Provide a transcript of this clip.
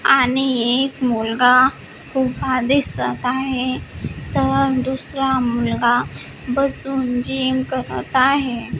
आणि एक मुलगा उभा दिसत आहे तर दुसरा मुलगा बसून जिम करत आहे.